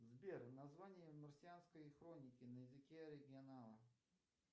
сбер название марсианской хроники на языке оригинала